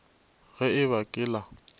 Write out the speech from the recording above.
ge e ba ke la